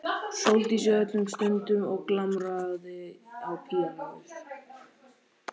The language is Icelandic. Sóldísi öllum stundum og glamraði á píanóið.